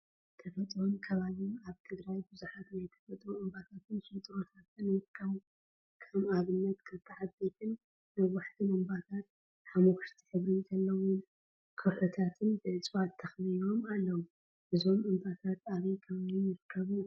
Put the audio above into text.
ተፈጥሮን አከባቢን አብ ትግራይ ቡዙሓት ናይ ተፈጥሮ እምባታትን ሽንጥሮታትን ይርከቡ፡፡ ከም አብነት ክልተ ዓበይትን ነዋሕቲን እምባታትሓመኩሽቲ ሕብሪ ዘለዎም ከውሒታት ብእፅዋት ተከቢቦም አለው፡፡ እዞም እምባታት አበይ ከባቢ ይርከቡ?